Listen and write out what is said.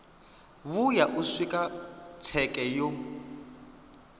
vhuya u swika tsheke yo